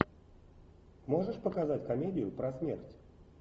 можешь показать комедию про смерть